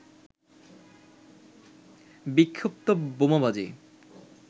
বিক্ষিপ্ত বোমাবাজি